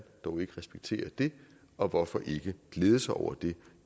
dog ikke respektere det og hvorfor ikke glæde sig over det